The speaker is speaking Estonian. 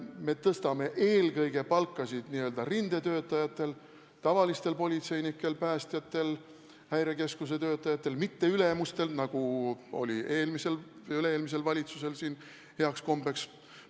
Me tõstame palka eelkõige n-ö rindetöötajatel, tavalistel politseinikel, päästjatel, häirekeskuse töötajatel – mitte ülemustel, nagu oli eelmisel ja üle-eelmisel valitsusel heaks kombeks.